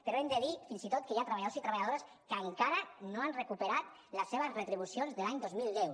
però hem de dir fins i tot que hi ha treballadors i treballadores que encara no han recuperat les seves retribucions de l’any dos mil deu